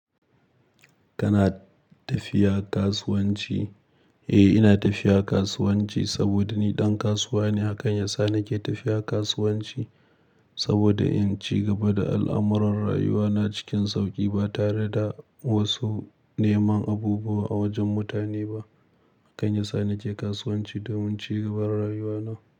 Kana tafiya kasuwanci? Eh ina tafiya kasuwanci saboda ni dan kasuwa ne. Hakan ya sa nake tafiya kasuwanci saboda in cigaba da al'amuran rayuwa na cikin sauƙi ba tare da wasu neman abubuwa a wajen mutane ba. Hakan ya sa nake kasuwanci domin cigaban rayuwa na.